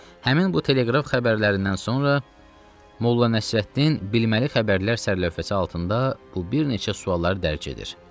Həmin bu teleqraf xəbərlərindən sonra Molla Nəsrəddin bilməli xəbərlər sərlövhəsi altında bu bir neçə sualları dərc edir.